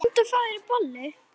Komdu og fáðu þér bollur.